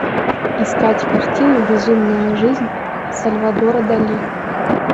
искать картину безумная жизнь сальвадора дали